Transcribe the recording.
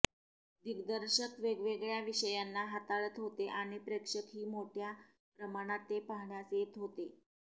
दिग्दर्शक वेगवेगळ्या विषयांना हाताळत होते आणि प्रेक्षक ही मोठ्या प्रमाणात ते पाहण्यास येत होते